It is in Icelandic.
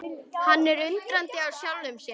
Hann er undrandi á sjálfum sér.